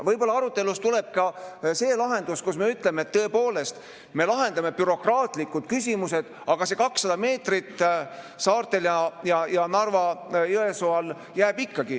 Võib-olla arutelus tuleb ka lahendus, kus me ütleme, et tõepoolest me lahendame bürokraatlikud küsimused, aga see 200 meetrit saartel ja Narva-Jõesuu kandis jääb ikkagi.